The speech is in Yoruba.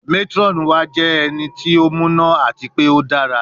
Matron wa jẹ ti o muna ati pe o dara